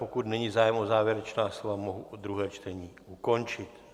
Pokud není zájem o závěrečná slova, mohu druhé čtení ukončit.